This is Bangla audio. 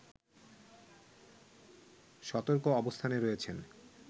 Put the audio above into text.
সতর্ক অবস্থানে রয়েছেন